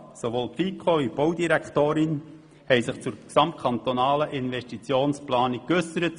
Sowohl die FiKo wie auch die Baudirektorin haben sich zur gesamtkantonalen Investitionsplanung geäussert.